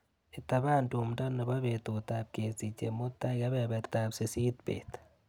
Itapan tumndo nebo betutap kesiche mutai kebebertap sisit bet.